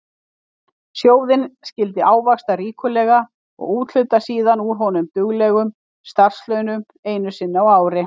Sjóðinn skyldi ávaxta ríkulega og úthluta síðan úr honum duglegum starfslaunum einu sinni á ári.